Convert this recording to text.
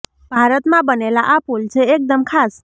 ભારતમાં બનેલા આ પુલ છે એક દમ ખાસ